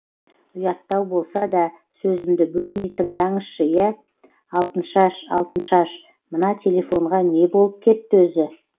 ұяттау болса да сөзімді бөлмей тыңдаңызшы иә алтыншаш алтыншаш мына телефонға не болып кетті өзі